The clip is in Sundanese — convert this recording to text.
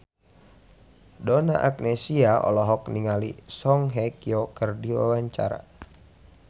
Donna Agnesia olohok ningali Song Hye Kyo keur diwawancara